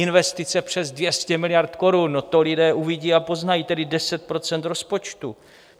Investice přes 200 miliard korun, no, to lidé uvidí a poznají, tedy 10 % rozpočtu.